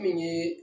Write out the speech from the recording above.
Min ye